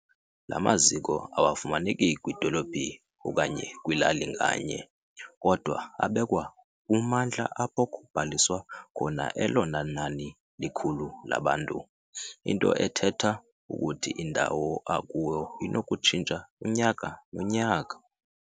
La maziko awafumaneki kwidolophu okanye kwilali nganye, kodwa abekwa kummandla apho kubhaliswa khona elona nani likhulu labantu, into ethetha ukuthi indawo akuyo inokutshintsha unyaka nonyaka.